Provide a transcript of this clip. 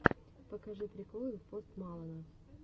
покажи приколы пост малона